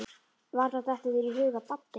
Varla dettur þér í hug að Baddi.